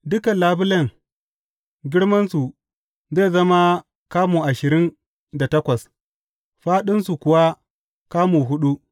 Dukan labulen, girmansu zai zama kamu ashirin da takwas, fāɗinsu kuwa kamu huɗu.